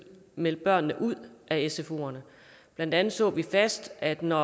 meldte børnene ud af sfoerne blandt andet så vi fast at når